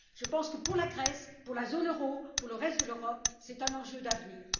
Je pense que, pour la Grèce, pour la zone euro, pour le reste de l'Europe, c'est un enjeu d'avenir.